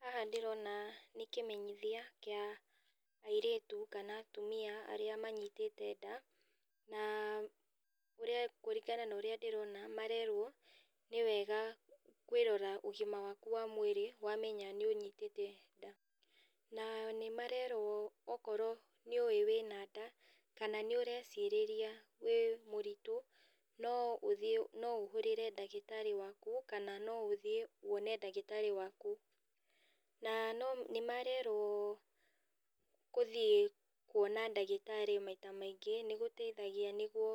Haha ndĩrona nĩ kĩmeneyithia kĩa, airĩtu kana atumia arĩa manyitĩte ndaa na ũrĩa kũringana na ũrĩa ndĩrona marerwo nĩwega kwĩrora ũgima waku wa mwĩrĩ wamenya nĩũnyitĩte ndaa na marerwo okorwo nĩũ wĩna ndaa kana nĩũrecirĩria wĩ mũritũ, no ũthiĩ no ũhũrĩre ndagĩtarĩ waku kana noũthiĩ wone ndagĩtarĩ waku na no nĩmarerwo gũtiĩ kuona ndagĩtarĩ maita maingĩ nĩgũteithagia nĩguo